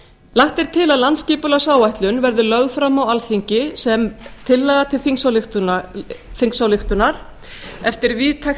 lagt er til að landsskipulagsáætlun verði lögð fram á alþingi sem tillaga til þingsályktunar eftir víðtækt